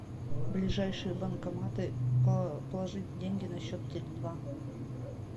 ближайшие банкоматы положить деньги на счет теле два